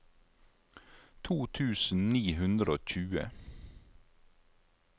to tusen ni hundre og tjue